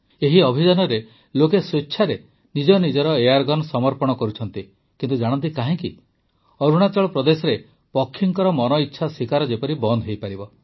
ଏହି ଅଭିଯାନରେ ଲୋକେ ସ୍ୱେଚ୍ଛାରେ ନିଜ ନିଜର ଏୟାର୍ଗନ୍ ସମର୍ପଣ କରୁଛନ୍ତି ଜାଣନ୍ତି କାହିଁକି ଅରୁଣାଚଳ ପ୍ରଦେଶରେ ପକ୍ଷୀଙ୍କର ମନଇଚ୍ଛା ଶିକାର ଯେପରି ବନ୍ଦ ହୋଇପାରିବ